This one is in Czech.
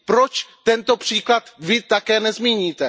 Proč tento příklad také nezmíníte?